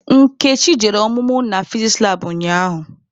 Nkechi jere ọmụmụ na fiziks labụ ụnyaahụ.